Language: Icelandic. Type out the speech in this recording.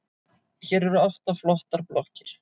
Hér eru átta flottar blokkir.